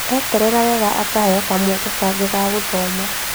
Eetetera wega akaheo kamweke kangĩ ga gũthoma